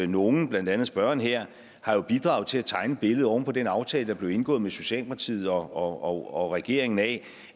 nogle blandt andet spørgeren her har bidraget til at tegne et billede oven på den aftale der blev indgået med socialdemokratiet og og regeringen af